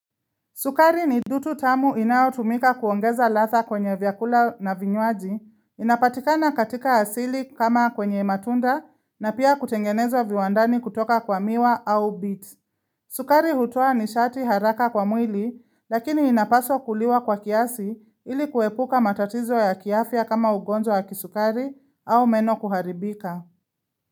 Sukari ni dutu tamu inaotumika kuongeza ladha kwenye vyakula na vinywaji, inapatikana katika asili kama kwenye matunda na pia kutengenezwa viwandani kutoka kwa miwa au bit. Sukari hutoa ni shati haraka kwa mwili lakini inapaswa kuliwa kwa kiasi ili kuepuka matatizo ya kiafya kama ugonzo ya kisukari au meno kuharibika.